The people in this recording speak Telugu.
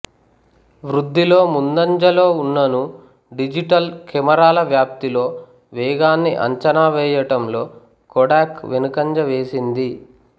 వృద్ధిలో ముందంజలో ఉన్ననూ డిజిటల్ కెమెరాల వ్యాప్తిలో వేగాన్ని అంచనా వేయటంలో కొడాక్ వెనుకంజ వేసింది